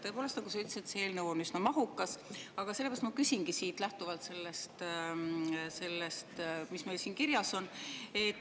Tõepoolest, nagu sa ütlesid, see eelnõu on üsna mahukas, aga sellest lähtuvalt ma küsingi selle kohta, mis meil siin kirjas on.